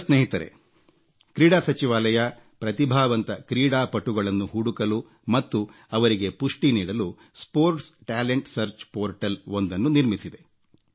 ಯುವ ಸ್ನೇಹಿತರೇ ಕ್ರೀಡಾ ಸಚಿವಾಲಯ ಪ್ರತಿಭಾವಂತ ಕ್ರೀಡಾ ಪಟುಗಳನ್ನು ಹುಡುಕಲು ಮತ್ತು ಅವರಿಗೆ ಪುಷ್ಟಿ ನೀಡಲು ಕ್ರೀಡಾ ಪ್ರತಿಭೆ ಶೋಧ ಪೋರ್ಟಲ್ ಒಂದನ್ನು ನಿರ್ಮಿಸಿದೆ